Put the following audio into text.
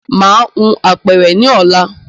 Màá hun apẹ̀rẹ̀ ní ọ̀la